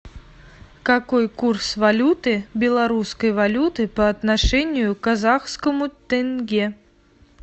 какой курс валюты белорусской валюты по отношению к казахскому тенге